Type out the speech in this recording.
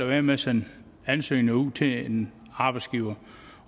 være med at sende ansøgninger ud til en arbejdsgiver